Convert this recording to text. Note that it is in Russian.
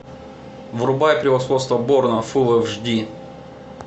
врубай превосходство борна фул эфш ди